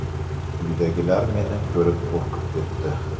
Uydagilar meni ko‘rib qo‘rqib ketdi.